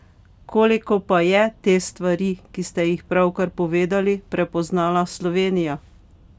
Koliko pa je te stvari, ki ste jih pravkar povedali, prepoznala Slovenija?